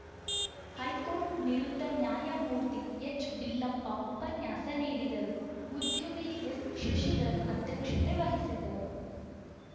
high court ನಿವೃತ್ತ ನ್ಯಾಯಮೂರ್ತಿ ಎಚ್‌ಬಿಲ್ಲಪ್ಪ ಉಪನ್ಯಾಸ ನೀಡಿದರು ಉದ್ಯಮಿ ಎಸ್‌ಶಶಿಧರ್‌ ಅಧ್ಯಕ್ಷತೆ ವಹಿಸಿದ್ದರು